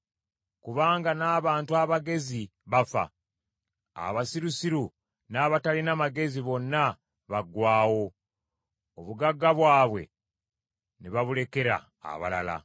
Kubanga n’abantu abagezi bafa; abasirusiru n’abatalina magezi bonna baaggwaawo, obugagga bwabwe ne babulekera abalala.